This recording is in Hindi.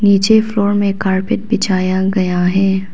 नीचे फ्लोर में कारपेट बिछाया गया है।